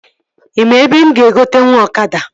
Ị maa ebe mụ ga-egotenwu ọkada?